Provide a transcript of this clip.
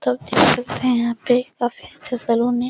तो आप देख सकते है यहाँ पे काफी अच्छा सैलून है।